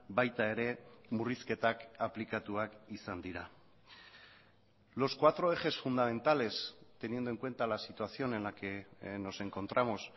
baita ere murrizketak aplikatuak izan dira los cuatro ejes fundamentales teniendo en cuenta la situación en la que nos encontramos